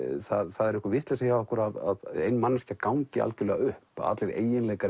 það er einhver vitleysa hjá okkur að manneskja gangi algjörlega upp að allir eiginleikar